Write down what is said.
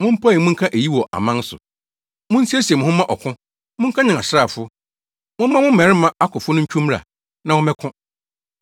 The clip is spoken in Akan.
Mompae mu nka eyi wɔ aman so: Munsiesie mo ho mma ɔko! Monkanyan asraafo! Momma mo mmarima akofo no ntwiw mmra, na wɔmmɛko.